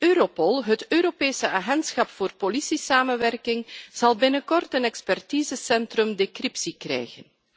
Europol, het Europese agentschap voor politiesamenwerking, zal binnenkort een expertisecentrum voor decryptie krijgen.